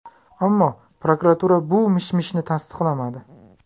Ammo prokuratura bu mishmishni tasdiqlamadi .